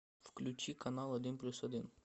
включи канал один плюс один